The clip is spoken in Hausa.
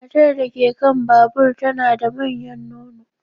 Matar da ke kan babur tana da manyan nono.